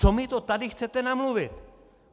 Co my to tady chcete namluvit?